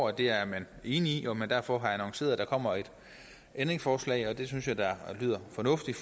at det er man enig i og at man derfor har annonceret at der kommer et ændringsforslag og det synes jeg da lyder fornuftigt